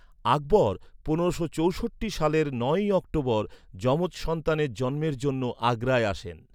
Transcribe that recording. আকবর পনেরোশো চৌষট্টি সালের নয়ই অক্টোবর যমজ সন্তানের জন্মের জন্য আগ্রায় আসেন।